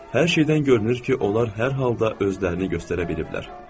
Hər şeydən görünür ki, onlar hər halda özlərini göstərə biliblər.